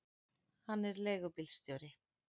Hann er leigubílstjóri.